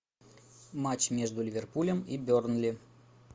матч между ливерпулем и бернли